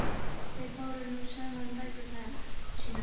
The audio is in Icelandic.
Þeir báru nú saman bækur sínar.